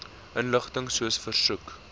inligting soos versoek